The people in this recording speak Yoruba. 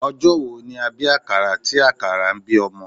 Ọjọ́ wo ni a bí àkàrà tí àkàrà ń bí ọmọ?